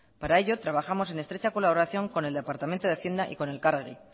para ello trabajamos en estrecha colaboración con el departamento de hacienda y con elkargi